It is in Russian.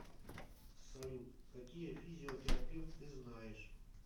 салют какие физиотерапевт ты знаешь